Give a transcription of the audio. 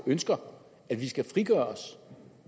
ønsker at vi skal frigøre os